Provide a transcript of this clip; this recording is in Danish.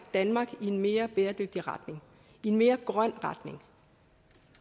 danmark i en mere bæredygtig retning i en mere grøn retning